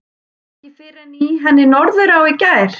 Ekki fyrr en í henni Norðurá í gær.